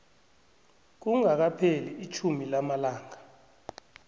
kungakapheli itjhumi lamalanga